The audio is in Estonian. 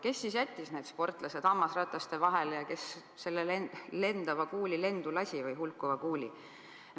Kes siis jättis need sportlased hammasrataste vahele ja kes selle hulkuva kuuli lendu lasi?